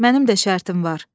Mənim də şərtim var.